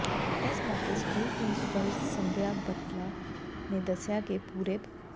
ਇਸ ਮੌਕੇ school principal Sandhya Bathla ਨੇ ਦੱਸਿਆ ਕਿ ਪੂਰੇ ਭ